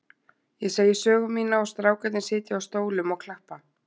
Ég segi sögu mína og strákarnir sitja á stólum og klappa.